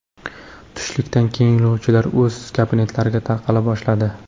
Tushlikdan keyin yo‘lovchilar o‘z kabinetlariga tarqala boshladi.